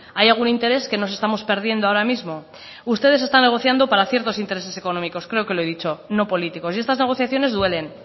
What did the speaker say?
hay algún interés que nos estamos perdiendo ahora mismo ustedes están negociando para ciertos intereses económicos creo que lo he dicho no políticos y estas negociaciones duelen